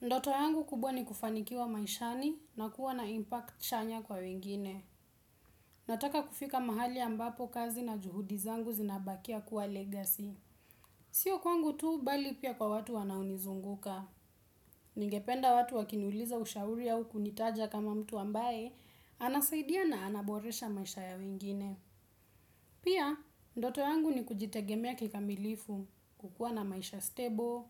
Ndoto yangu kubwa ni kufanikiwa maishani na kuwa na impact chanya kwa wengine. Nataka kufika mahali ambapo kazi na juhudi zangu zinabakia kuwa legacy. Sio kwangu tuu bali pia kwa watu wanaonizunguka. Ningependa watu wakiniuliza ushauri au kunitaja kama mtu ambaye anasaidia na ana boresha maisha ya wengine. Pia, ndoto yangu ni kujitegemea kikamilifu, kukua na maisha stable,